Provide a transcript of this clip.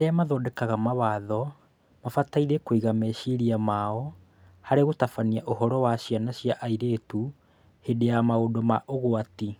Arĩa mathondekaga mawatho mabataire kũiga meciria mao harĩ gũtabania ũhoro wa ciana cia airĩtu hĩndĩ ya maũndũ ma ũgwati